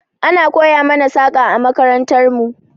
Ana koya mana saƙa a makarantar mu.